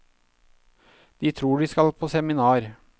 De tror de skal på seminar.